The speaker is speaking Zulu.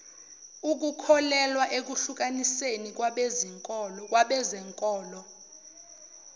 ukholelwa ekuhlukaniseni kwabezenkolo